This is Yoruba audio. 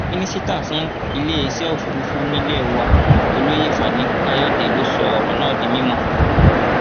mínísítà fún iléeṣẹ òfurufú nílé wa olóyè fani káyọdé ló sọ ọrọ náà di mímọ